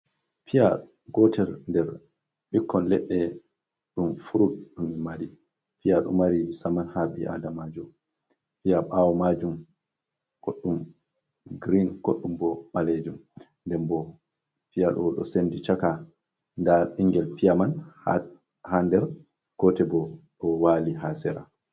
Piya, gotel nder bukkon leɗɗe ɗum furut mari, piya ɗo mari saman ha ɓi’ada ma, piya ɓawo majuum kolo mai girin, goɗɗum bo ɓalejuum, den bo piya ɗo sendi chaka, nda ɓinngel piya man ha nder gotel bo ɗo wali ha sera.